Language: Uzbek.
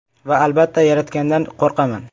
Va, albatta, Yaratgandan qo‘rqaman.